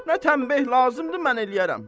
Nə tənbih lazımdır mən eləyərəm.